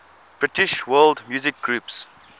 british world music groups